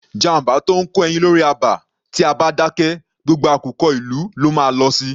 Jàmbá tó ńkó ẹyin lórí àba, tí a bá dákẹ, gbogbo àkùkọ ìlú ló má a lọ si.